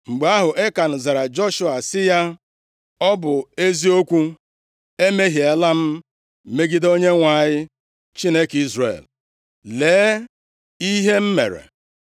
Mgbe ahụ, Ekan zara Joshua sị ya, “Ọ bụ eziokwu! Emehiela m megide Onyenwe anyị, Chineke Izrel. Lee ihe m mere.